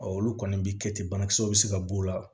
olu kɔni bɛ kɛ ten banakisɛw bɛ se ka b'o la